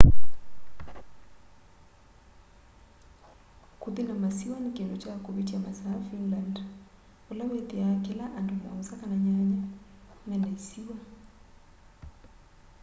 kũthi na masiwa ni kindũ kya kuvĩtya masaa finland vala wĩtiaa kila andũ 7 kana nyanya mena ĩsiwa